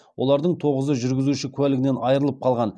олардың тоғызы жүргізуші куәлігінен айырылып қалған